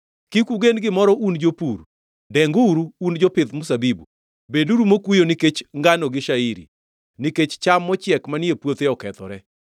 Kik ugen gimoro un jopur, denguru un jopidh mzabibu, beduru mokuyo nikech ngano gi shairi, nikech cham mochiek manie puothe okethore.